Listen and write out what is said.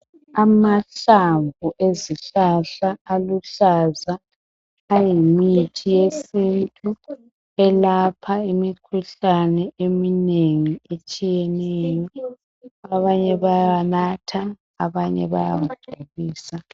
amahlamvu ezihlahla aluhlaza ayimithi yesintu elapha imikhuhlane eminengi etshiyeneyo abanye bayawanatha abanye bayawa bhoyilisa